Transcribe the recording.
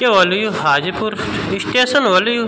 क्या होलु यू हाजीपुर स्टेशन होलु यू।